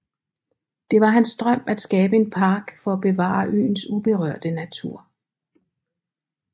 Det var hans drøm at skabe en park for at bevare øens uberørte natur